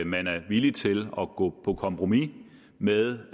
man er villig til at gå på kompromis med